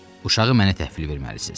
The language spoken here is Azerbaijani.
Uşağı mənə təhvil verməlisiz.